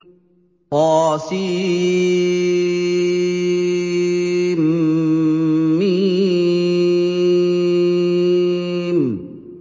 طسم